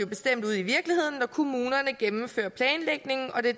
bestemt ude i virkeligheden når kommunerne gennemfører planlægningen og det